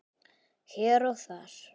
Hér og þar.